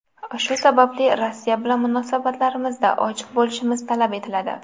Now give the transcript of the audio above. Shu sababli Rossiya bilan munosabatlarimizda ochiq bo‘lishimiz talab etiladi.